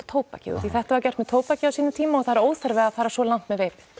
tóbakið því þetta var gert með tóbakið á sínum tíma og það er óþarfi að fara svo langt með veipið